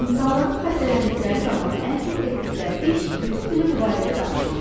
İnsanların xəstələndikləri zamanı ən çox etdikləri iş bütün günü bu barədə danışmaqdır.